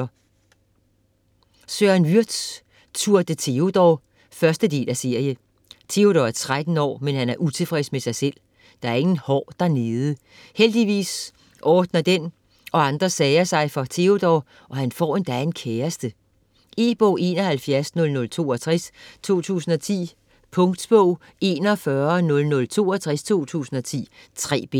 Würtz, Søren: Tour de Teodor 1. del af serie. Teodor er 13 år, men han er utilfreds med sig selv - der er ingen hår dernede. Heldigvis ordner den og andre sager sig for Teodor, han får endda en kæreste! E-bog 710062 2010. Punktbog 410062 2010. 3 bind.